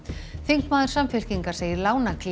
þingmaður Samfylkingar segir